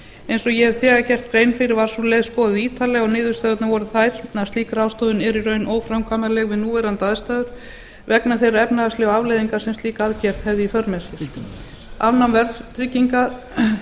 eins og ég hef þegar gert grein fyrir var sú leið skoðuð ítarlega og niðurstöðurnar voru þær að slík ráðstöfun yrði í raun óframkvæmanleg við núverandi aðstæður vegna þeirra efnahagslegu afleiðinga sem hún hefði í för með sér afnám verðtryggingar